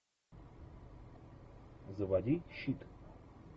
заводи щит